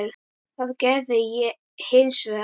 Það gerði ég hins vegar.